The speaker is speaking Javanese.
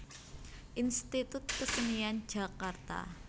Institut Kesenian Jakarta